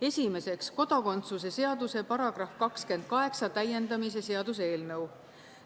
Esimeseks, kodakondsuse seaduse § 28 täiendamise seaduse eelnõu.